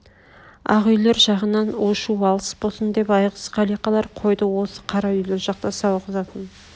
ақ үйлер жағынан у-шу алыс босын деп айғыз қалиқалар қойды осы қара үйлер жақта сауғызатын